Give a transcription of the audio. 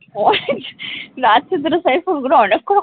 ওই last এর দুটো শেষ সঙ্গে অনেকক্ষণ,